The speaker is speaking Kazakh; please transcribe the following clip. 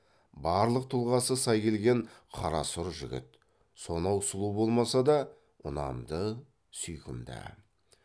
барлық тұлғасы сай келген қарасұр жігіт сонау сұлу болмаса да ұнамды сүйкімді